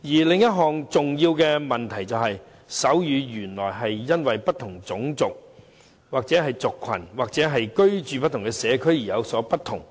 另一個重要的問題是，手語原來會因為不同種族、族群或居住在不同社區而有所不同。